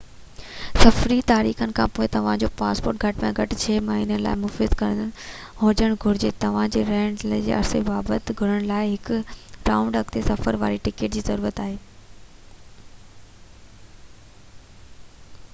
سفري تاريخن کان توهان جو پاسپورٽ گهٽ ۾ گهٽ 6 مهينن لاءِ مفيد هجڻ گهرجي. توهان جي رهڻ جي عرصي کي ثابت ڪرڻ لاءِ هڪ رائونڊ/اڳتي سفر واري ٽڪيٽ جي ضرورت آهي